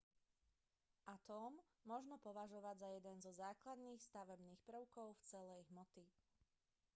atóm možno považovať za jeden zo základných stavebných prvkov celej hmoty